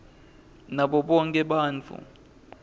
nabo bonkhe bantfu